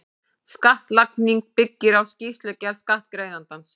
Skattlagning byggir á skýrslugerð skattgreiðandans.